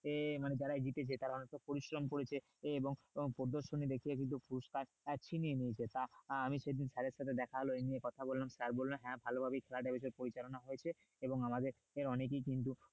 যে মানে যারাই জিতেছে তারা অনেক পরিশ্রম করেছে আহ এবং প্রদর্শনী দেখিয়ে কিন্তু পুরস্কার আহ ছিনিয়ে নিয়েছে তা আমি সেদিন sir এর সাথে হলো এই নিয়ে কথা বললাম sir বললো হ্যাঁ ভালো ভাবেই খেলাটা এসে পরিচালনা হয়েছে এবং আমাদের অনেকেই কিন্তু,